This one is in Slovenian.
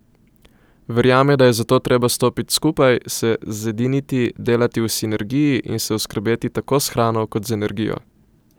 Verjame, da je zato treba stopiti skupaj, se zediniti, delati v sinergiji, in se oskrbeti tako s hrano kot z energijo.